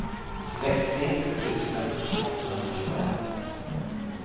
sextio tusen åttahundratjugoett